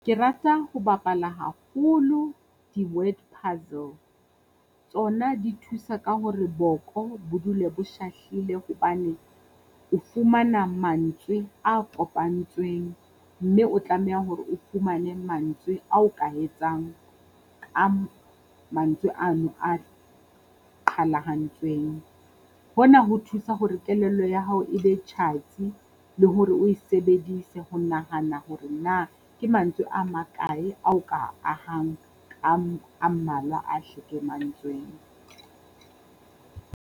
Ke rata ho bapala haholo di-word puzzle. Tsona di thusa ka hore boko bo dule bo shahlile hobane, o fumana mantswe a kopantsweng mme o tlameha hore o fumane mantswe ao ka etsang ka mantswe ano a qhalahantsweng. Hona ho thusa hore kelello ya hao e be tjhatsi le hore o e sebedise ho nahana hore na ke mantswe a makae ao ka ahang ka a mmalwa a .